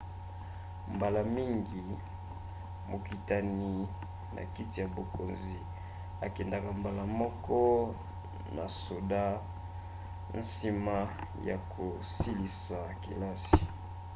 mbala mingi mokitani na kiti ya bokonzi ekendaka mbala moko na soda nsima ya kosilisa kelasi